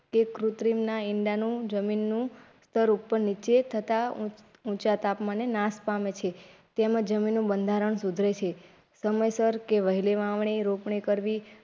કૃત્રિમના ઇંડાનું જમીન નું સ્તર ઉપર નીચે થતા ઊંચા તાપમાને નાશ પામે છે તેમજ જમીનનું બંધારણ સુધરે છે સમયસર કે વહેલા વાવણી રોપણી કરવી.